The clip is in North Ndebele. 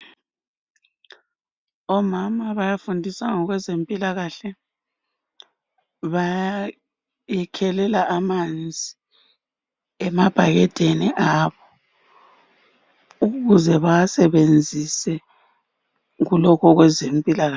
omama bayafundisa ngokwezempilakahle bayakhelela amanzi emabhakedeni abo ukuze bawasebenzise kulokhu okwezempilakahle